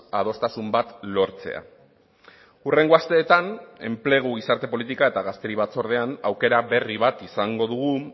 adostasun bat lortzea hurrengo asteetan enplegu gizarte politika eta gazteri batzordean aukera berri bat izango dugu